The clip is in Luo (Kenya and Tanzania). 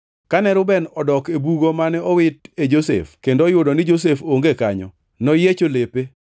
Kane Reuben odok e bugo mane owit e Josef kendo oyudo ni Josef onge kanyo, noyiecho lepe.